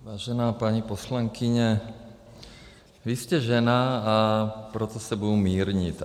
Vážená paní poslankyně, vy jste žena, a proto se budu mírnit.